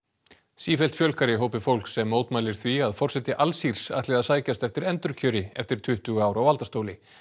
sífellt fjölgar í hópi fólks sem mótmælir því að forseti Alsírs ætli að sækjast eftir endurkjöri eftir tuttugu ár á valdastóli